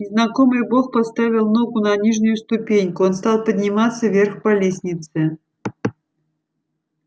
незнакомый бог поставил ногу на нижнюю ступеньку он стал подниматься вверх по лестнице